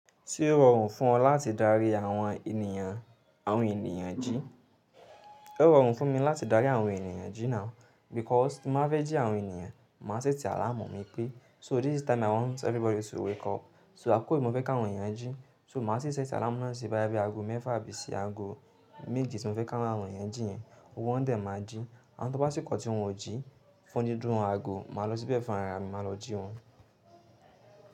Ṣé ó rọrùn fún ọ láti darí àwọn ènìyàn, àwọn ènìyàn jí? Ó rọrùn fún mi láti darí àwọn ènìyàn jí náà because tí n bá fẹ́ jí àwọn ènìyàn, màá ṣẹ́tì alààmù mi pé "so this is the time i want everybody to wake up". So àkókò yì, mo fẹ́ kí àwọn èyàn jí. So màá sì ṣẹ́tì alámù náà sí báyà bí i ago mẹ́fà àbí sí ago méje tí mo fẹ́ kí àwọn ènìyàn jí yẹn, gbógbo wọn dẹ̀ ma jí. Àwọn tó bá sìkọ̀ tí wọn ò jí, fún dídún wọn ago, màá lọ síbẹ̀ fún ara mi, màá lọ jí wọn.